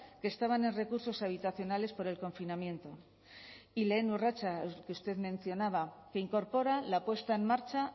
que estaban en recursos habitacionales por el confinamiento y lehen urratsa que usted mencionaba que incorpora la puesta en marcha